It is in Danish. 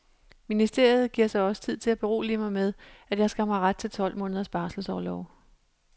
Ministeriet giver sig også tid til at berolige mig med, at jeg skam har ret til tolv måneders barselsorlov.